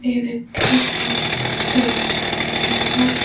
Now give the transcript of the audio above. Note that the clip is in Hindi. बिल्डिंग के ऊपर सफेद दीवारे हैं।